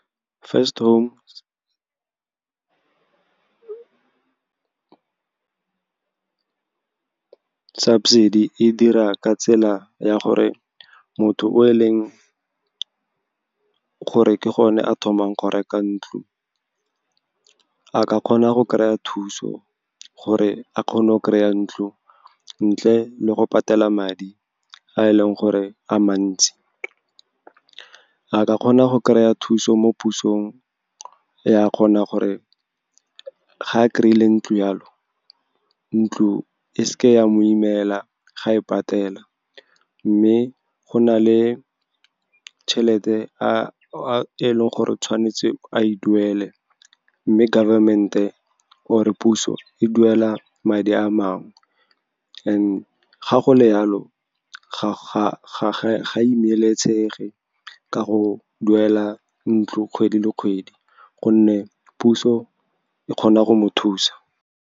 First home subsidy e dira ka tsela ya gore motho o e leng gore ke gone a thomang go reka ntlo, a ka kgona go kry-a thuso gore a kgone go kry-a ntlo ntle le go patela madi a e leng gore a mantsi. A ka kgona go kry-a thuso mo pusong, ya kgona gore ga a kry-ile ntlo, yalo ntlo e seke ya mo imela ga e patela. Mme go na le tšhelete e e leng gore tshwanetse a e duele, mme government-e or-e puso e duela madi a mangwe. And ga go le yalo, ga imelesege ka go duela ntlo kgwedi le kgwedi, gonne puso e kgona go mo thusa.